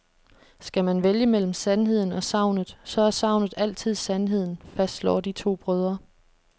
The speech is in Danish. Skal man vælge mellem sandheden og sagnet, så er sagnet altid sandheden, fastslår de to brødre.